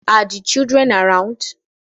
Are the children around